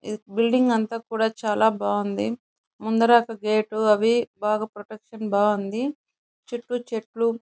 ఈ బిల్డింగ్ అంత కూడా చాలా బాగుంది. ముందర ఒక గేట్ అవి బాగా ప్రొటెక్షన్ బాగుంది. చుట్టూ చెట్లు --